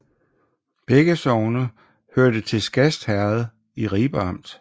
Begge sogne hørte til Skast Herred i Ribe Amt